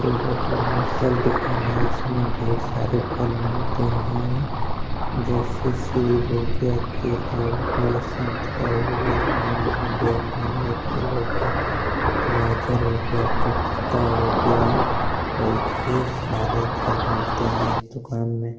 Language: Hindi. एगो बहुत बढ़िया फल दुकान है इसमें ढेर सारे फल मिलते हैं जैसे सेब हो गया केला हो गया संतरा हो गया आम हो गया पानी एप्पल हो गया गाजर हो गया पपीता हो गया और ढेर सारे फल मिलते हैं इस दुकान में ।